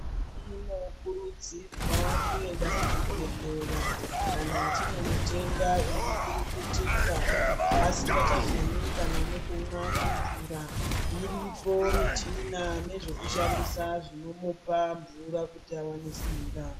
Tinokurudzirwa kuenda kuzvibhedhlera kana tine mutenda uri kurukutika asingachagoni kana nekumwa nemvura iripo michina nezvekushandisa zvinomupa mvura kuti awane simba.